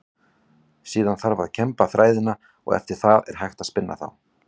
Síðan þarf að kemba þræðina og eftir það er hægt að spinna þá.